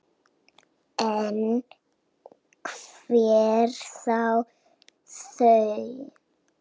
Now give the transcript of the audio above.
En hver á þau?